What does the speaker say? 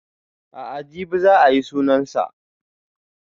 A'a jibi za a yi sunan sa